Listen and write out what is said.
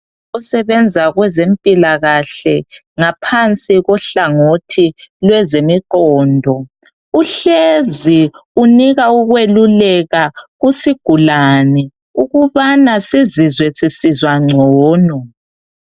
Osebenza kwezempilakahle ngaphansi kohlangothi lwezemiqondo uhlezi unika ukweluleka kusigulane ukubana sizizwe sisizwa ngcono.